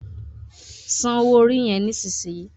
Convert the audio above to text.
Sàn owo orí yen nísìsiyìí!